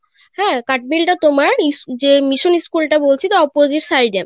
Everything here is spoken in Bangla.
হ্যাঁ কাঠ মিল টা তোমার মিশ~ যে মিশন School টা বলছি তার Opposite side এ,